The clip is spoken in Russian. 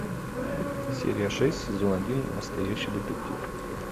серия шесть сезон один настоящий детектив